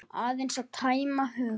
Aðeins að tæma hugann.